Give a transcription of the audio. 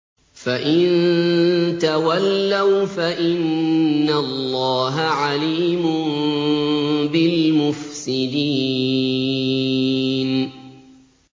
فَإِن تَوَلَّوْا فَإِنَّ اللَّهَ عَلِيمٌ بِالْمُفْسِدِينَ